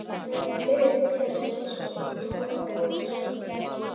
Hann er með þykkt nef einsog útflatta gúmmíblöðru.